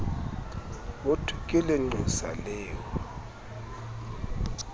hothwe ke lenqosa le o